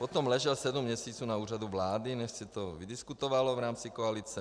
Potom ležel sedm měsíců na Úřadu vlády, než se to vydiskutovalo v rámci koalice.